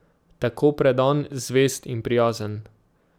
Tako predan, zvest in prijazen.